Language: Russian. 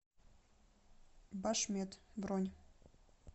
башмед бронь